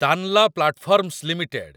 Tanla Platforms limited